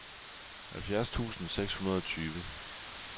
halvfjerds tusind seks hundrede og tyve